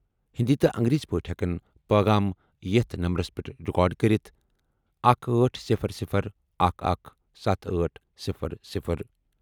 ہِنٛدی یا انگریزی پٲٹھۍ ہٮ۪کن پٲغام یتھ نمبرس پٮ۪ٹھ رِکارڈ کٔرِتھ 1800117800 ۔